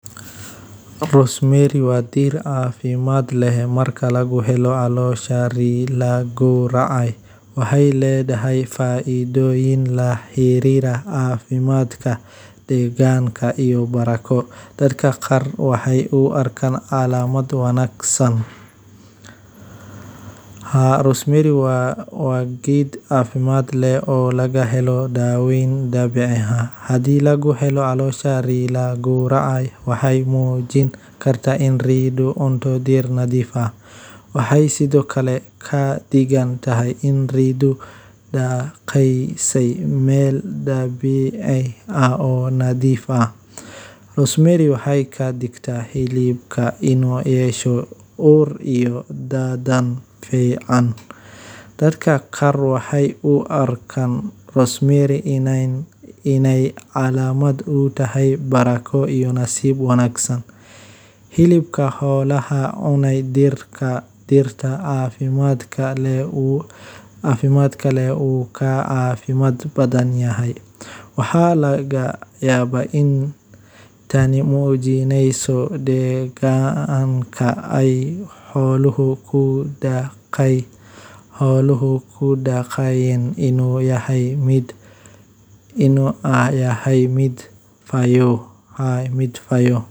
Rosemary waa diir cafimad leh udgoon oo caafimaad badan leh marka si habboon loo isticmaalo, waxaana lagu yaqaan faa’iidooyin badan oo ku saabsan caafimaadka jirka iyo maskaxda. Geedkan, oo asal ahaan ka soo jeeda Mediterranean-ka, waxaa laga helaa maadooyin antioxidants ah sida carnosic acid iyo rosmarinic acid kuwaas oo ka caawiya jirka la dagaallanka xagjirnimada xorta ah